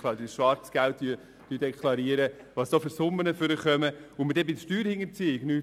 Wir sehen ja die Zahlen schwarz auf weiss, und wir tun bei der Steuerhinterziehung nichts.